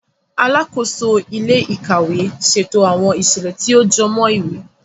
Alàkóso ilé-íkàwe ṣètò awọn iṣẹlẹ tí o jọmọ ìwé.